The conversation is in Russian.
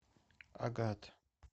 агат